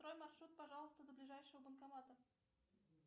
построй маршрут пожалуйста до ближайшего банкомата